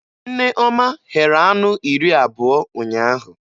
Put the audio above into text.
Nneoma ghere anụ iri abụọ ụnyaahụ